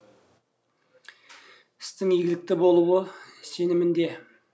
істің игілікті болуы сенімінде